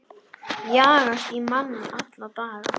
Jagast í manni alla daga.